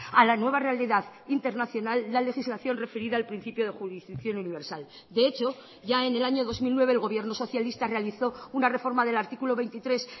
a la nueva realidad internacional la legislación referida al principio de jurisdicción universal de hecho ya en el año dos mil nueve el gobierno socialista realizó una reforma del artículo veintitrés